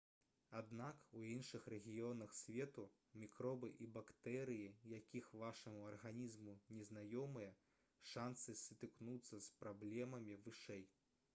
аднак у іншых рэгіёнах свету мікробы і бактэрыі якіх вашаму арганізму незнаёмыя шанцы сутыкнуцца з праблемамі вышэй